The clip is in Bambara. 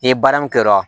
Ni baara min kɛra